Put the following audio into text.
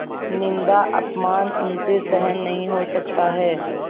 निन्दाअपमान उनसे सहन नहीं हो सकता है